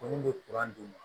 Ko ni bɛ d'u ma